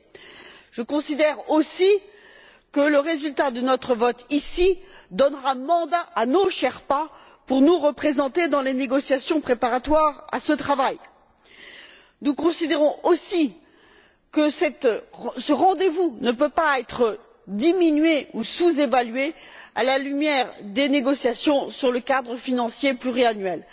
En outre, je considère que le résultat de notre vote, ici, donnera mandat à nos sherpas pour nous représenter dans les négociations préparatoires à ce travail. Nous considérons aussi que ce rendez vous ne peut pas être diminué ou sous évalué à la lumière des négociations sur le cadre financier pluriannuel.